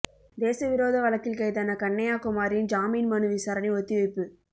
தேச விரோத வழக்கில் கைதான கண்ணைய்யா குமாரின் ஜாமீன் மனு விசாரணை ஒத்திவைப்பு